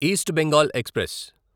east Bengal express